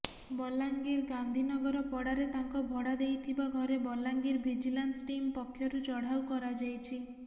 ବଲାଙ୍ଗିର ଗାନ୍ଧିନଗରପଡାରେ ତାଙ୍କ ଭଡା ଦେଇଥିବା ଘରେ ବଲାଙ୍ଗିର ଭିଜିଲାନ୍ସ ଟିମ୍ ପକ୍ଷରୁ ଚଢ଼ାଉ କରାଯାଇଛି